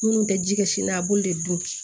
Minnu bɛ ji kɛ sini na a b'olu de dun